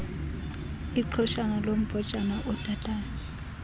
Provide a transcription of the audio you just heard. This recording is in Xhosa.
iqhoshana lombhojana odadayo